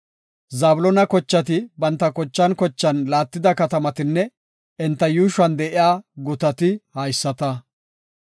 Zabloona kochati banta kochan kochan laattida katamatinne enta yuushuwan de7iya gutati haysata.